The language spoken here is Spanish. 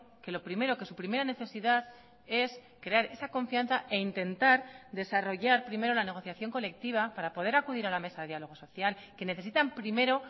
que lo primero que su primera necesidad es crear esa confianza e intentar desarrollar primero la negociación colectiva para poder acudir a la mesa de diálogo social que necesitan primero